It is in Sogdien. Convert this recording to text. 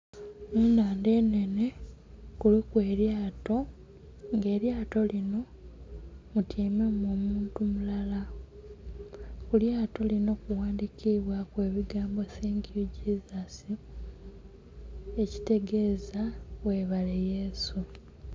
Ennhandha enhenhe kuliku elyato nga elyato linho mutyaimemu omuntu mulala. Ku lyato linho kughandhikibwaku ekigambo "Thank You Jesus" ekitegeza, ghebale yesu.